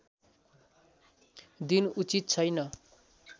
दिन उचित छैन